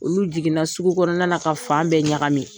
Olu jiginna sugu kɔnɔna ka fan bɛɛ ɲaga min.